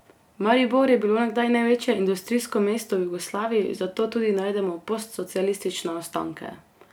Maribor je bilo nekdaj največje industrijsko mesto v Jugoslaviji, zato tudi najdemo postsocialistične ostanke.